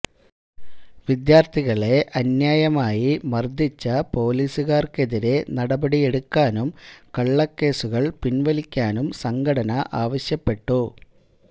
വിദ്യാര്ത്ഥികളെ അന്യായമായി മര്ദ്ദിച്ച പോലിസുകാര്ക്കെതിരേ നടപടിയെടുക്കാനും കള്ളക്കേസുകള് പിന്വലിക്കാനും സംഘടന ആവശ്യപ്പെട്ടു